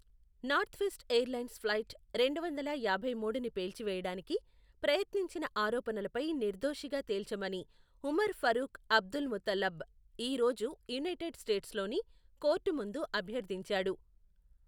Northwest airlines flight రెండు వందల యాభై మూడుని పేల్చివేయడానికి, ప్రయత్నించిన ఆరోపణలపై నిర్దోషిగా తేల్చమని ఉమర్ ఫరూక్ అబ్దుల్ముతల్లాబ్ ఈ రోజు యునైటెడ్ స్టేట్స్లోని కోర్టు ముందు అభ్యర్థించాడు.